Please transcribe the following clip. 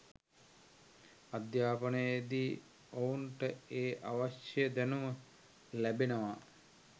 අධ්‍යාපනයේදී ඔවුන්ට ඒ අවශ්‍ය දැනුම ලැබෙනවා